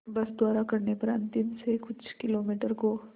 बस द्वारा करने पर अंतिम से कुछ किलोमीटर को